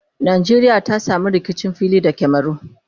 Nqjeriya ta samu rikicin fili da camaru?